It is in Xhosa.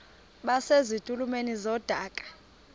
base zitulmeni zedaka